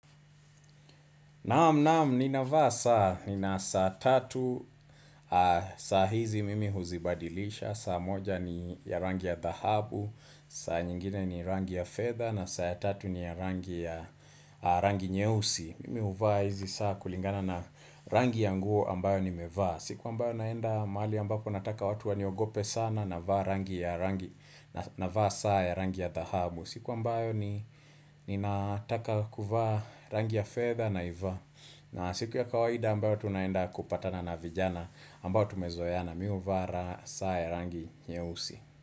Nam nam, nina vaa saa, nina saa tatu, saa hizi mimi huzibadilisha, saa moja ni ya rangi ya thahabu, saa nyingine ni rangi ya fedha na saa ya tatu ni ya rangi ya rangi nyeusi. Mimi huvaa hizi saa kulingana na rangi ya nguo ambayo nimevaa. Siku ambayo naenda mahali ambapo nataka watu waniogope sana navaa rangi ya rangi navaa saa ya rangi ya thahabu, siku ambayo ni ni nataka kuvaa rangi ya fedha naivaa na siku ya kawaida ambayo tunaenda kupatana na vijana ambayo tumezoeana mimi huvaa saa ya rangi nyeusi.